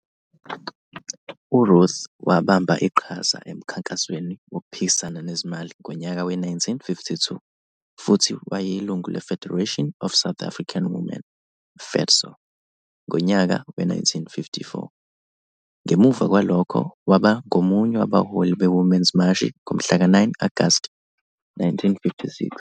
URuth wabamba iqhaza eMkhankasweni Wokuphikisana Nezimali ngonyaka we-1952 futhi wayeyilungu le-Federation of South African Women, FEDSAW, ngonyaka we-1954. Ngemuva kwalokho waba ngomunye wabaholi be-Women's Mashi ngomhlaka 9 Agasti 1956.